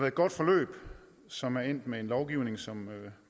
et godt forløb som er endt med en lovgivning som